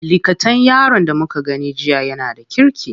Likatan yaron da muka gani jiya yana da kirki.